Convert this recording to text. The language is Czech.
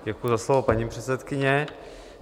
Děkuji za slovo, paní předsedkyně.